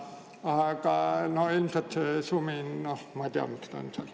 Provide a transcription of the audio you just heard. Aga see sumin – noh, ma ei tea, miks ta seal on.